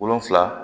Wolonfila